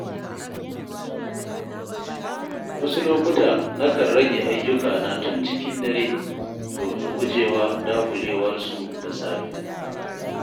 Wasu lokuta nakan rage ayyukana tun cikin dare domin guje wa dagulewarsu da safe.